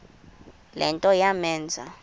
le nto yamenza